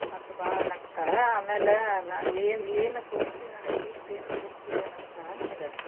ಅಂತ ಬಾಳ ಅನ್ನಾಕತ್ತಾಳಾ ಆಮೇಲೆ ನಂಗ ಏನ್~ ಏನ ಕೊಡುಸ್ತೀ ನಂಗ್ gift ಏನ್ ಕೊಡುಸ್ತೀ ಅಂತ್ ಬಾಳ್ ಅನ್ನಾಕತ್ತಾಳಾ ನನಗ.